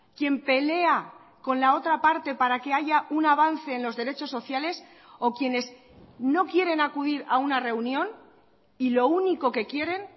quien pelea con la otra parte para que haya un avance en los derechos sociales o quienes no quieren acudir a una reunión y lo único que quieren